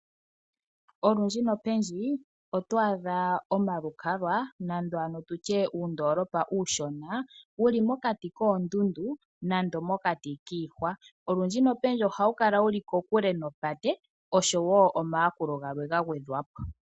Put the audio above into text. Olundji nopendji oto adha omalukalwa nando ano tutye uundoolopa uushona wuli mokati koondundu nando mokati kiihwa. Olundji nopendji ohawu kala wuli kokule nopate oshowo omayakulo galwe gagwedha po.